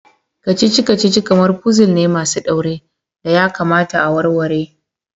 Kacici-kacici kamar puzul ne masu daure da ya kamata a warware.